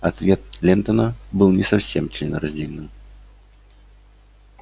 ответ лентона был не совсем членораздельным